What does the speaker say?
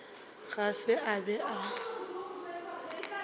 ga se a be a